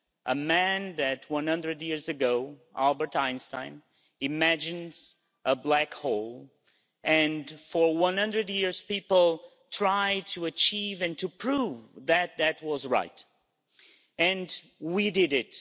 A man 100 years ago, Albert Einstein, imagined a black hole, and for 100 years people tried to achieve and to prove that that was right, and we did it.